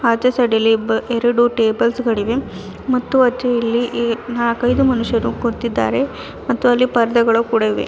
ಆಚೆ ಸೈಡಲ್ಲಿ ಇಬ್ಬ ಎರಡು ಟೇಬಲ್ಸ್ ಗಳಿವೆ ಮತ್ತು ಅಚ್ಚು ಅಲ್ಲಿ ನಾಕೈದು ಮನುಷ್ಯರು ಕೂತಿದ್ದಾರೆ ಮತ್ತು ಅಲ್ಲಿ ಪರ್ದೆಗಳು ಕೂಡ ಇವೆ.